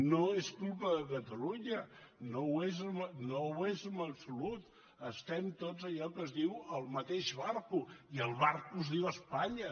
no és culpa de catalunya no ho és en absolut estem tots allò que es diu al mateix vaixell i el vaixell es diu espanya